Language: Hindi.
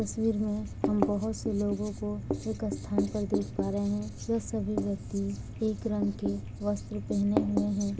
तस्वीर में हम बहुत से लोगों को एक स्थान पर देख पा रहे हैं| यह सभी व्यक्ति एक रंग के वस्त्र पहने हुए हैं।